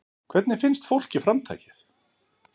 Hvernig finnst fólki framtakið?